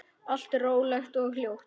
Allt rólegt og hljótt.